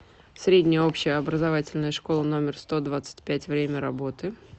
средняя общеобразовательная школа номер сто двадцать пять время работы